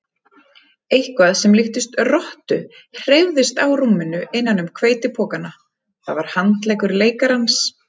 Eitthvað sem líktist rottu hreyfðist á rúminu innan um hveitipokana, það var handleggur leikarans.